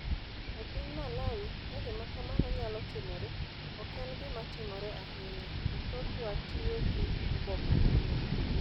E piny Malawi, ka gima kamano nyalo timore, ok en gima timore ahinya, to thothwa, tiyo gi oboke malong'o